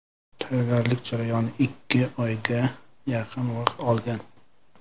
Tayyorgarlik jarayoni ikki oyga yaqin vaqt olgan.